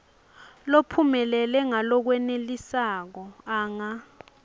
lophumelele ngalokwenelisako anga